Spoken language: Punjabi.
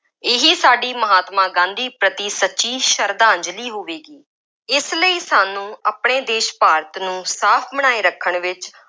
ਇਹੀ ਸਾਡੀ ਮਹਾਤਮਾ ਗਾਂਧੀ ਪ੍ਰਤੀ ਸੱਚੀ ਸਰਧਾਂਜ਼ਲੀ ਹੋਵੇਗੀ। ਇਸ ਲਈ ਸਾਨੂੰ ਆਪਣੇ ਦੇਸ਼ ਭਾਰਤ ਨੂੰ ਸਾਫ ਬਣਾਏ ਰੱਖਣ ਵਿੱਚ